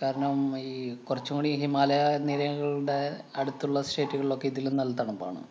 കാരണം, ഈ കുറച്ചുംകൂടി ഈ ഹിമാലയനിരകളുടെ അടുത്തുള്ള state കളിലൊക്കെ ഇതിലും നല്ല തണുപ്പാണ്.